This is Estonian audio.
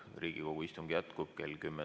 Riigikogu istung jätkub kell 10.